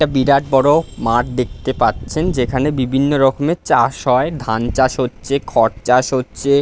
একটা বিরাট বড়ো মাঠ দেখতে পাচ্ছেন যেখানে বিভিন্ন রকমের চাষ হয়। ধান চাষ হচ্ছে খড় চাষ হচ্ছে।